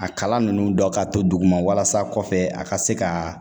A kala ninnu dɔ ka to duguma walasa kɔfɛ a ka se ka